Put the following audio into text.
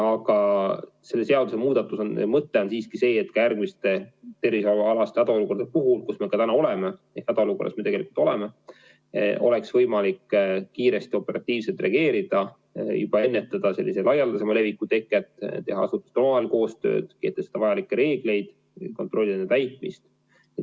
Aga selle seadusemuudatuse mõte on siiski see, et ka järgmiste tervishoiualaste hädaolukordade puhul – täna me selles ju tegelikult oleme – oleks võimalik kiiresti, operatiivselt reageerida ja juba ennetada laialdasemat levikut, teha asutustel omavahel koostööd, kehtestada vajalikke reegleid, kontrollida nende täitmist.